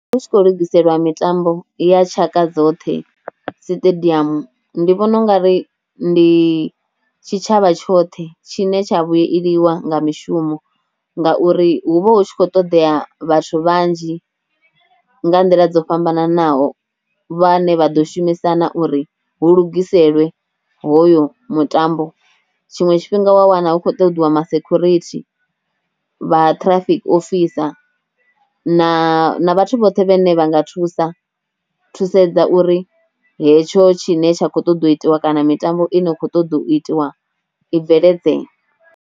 Hu tshi khou lugiselwa mitambo ya tshaka dzoṱhe siṱediamu ndi vhona u nga ri ndi tshitshavha tshoṱhe tshine tsha vhueliwa nga mishumo, ngauri hu vha hu tshi khou ṱoḓea vhathu vhanzhi nga nḓila dzo fhambananaho vha ne vha ḓo shumisana uri hu lugiselwa hoyo mutambo, tshiṅwe tshifhinga wa wana hu khou ṱoḓiwa ma security, vha traffic officer na vhathu vhoṱhe vhe ne vha nga thusa thusedza uri hetsho tshi ne tsha khou ṱoḓo u itiwa kana mitambo i no kho ṱoḓo u itiwa i bveledzee.